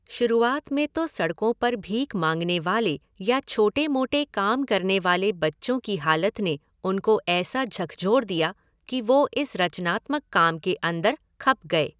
शुरुआत में तो सड़कों पर भीख माँगने वाले या छोटे मोटे काम करने वाले बच्चों की हालत ने उनको ऐसा झक़झोर दिया कि वो इस रचनात्मक काम के अंदर खप गए।